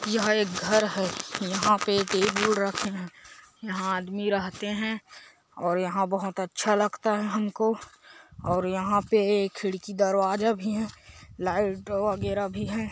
यह एक घर है यहाँ पे टेबल रखे है यहाँ आदमी रहते है और यहाँ बहोत अच्छा लगता है हमको और यहाँ पे खिड़की दरवाजा भी है लाइट वगैरा भी है।